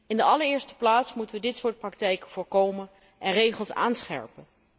In de allereerste plaats moeten wij dit soort praktijken voorkomen en regels aanscherpen.